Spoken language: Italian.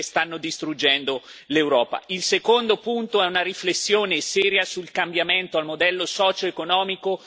Il secondo punto è una riflessione seria sul cambiamento del modello socioeconomico su cui si basa oggi l'Eurozona.